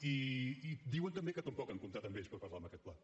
i diuen també que tampoc han comptat amb ells per parlar d’aquest pla